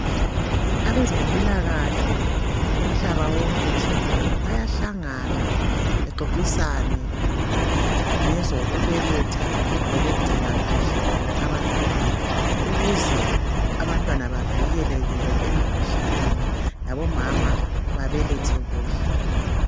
Abezempilakahle umhlaba wonke jikelele bayahlangana bexoxisane ngezokubeletha lokungcina kuhle abantwana ukuze abantwana bavikeleke emkhuhlaneni labomama babelethe kuhle.